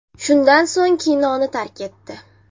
Shundan so‘ng kinoni tark etdi.